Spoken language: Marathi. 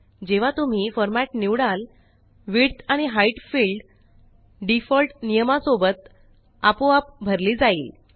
जेव्हा तुम्ही formatनिवडाल विड्थ आणि हाइट फिल्ड डीफ़ॉल्ट नियमा सोबत आपोआप भरली जाइल